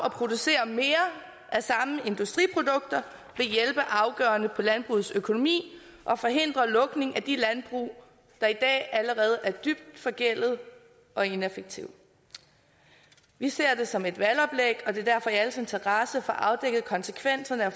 at producere mere af samme industriprodukter vil hjælpe afgørende på landbrugets økonomi og forhindre lukning af de landbrug der i dag allerede er dybt forgældede og ineffektive vi ser det som et valgoplæg og det er derfor i alles interesse i at få afdækket konsekvenserne af